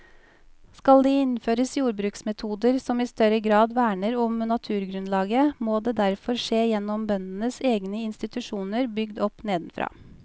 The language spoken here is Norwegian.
Skal det innføres jordbruksmetoder som i større grad verner om naturgrunnlaget, må det derfor skje gjennom bøndenes egne institusjoner bygd opp nedenfra.